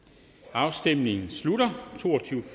afstemningen slutter